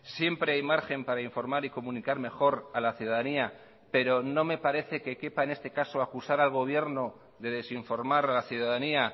siempre hay margen para informar y comunicar mejor a la ciudadanía pero no me parece que quepa en este caso acusar al gobierno de desinformar a la ciudadanía